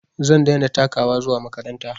Zan daina takawa zuwa makaranta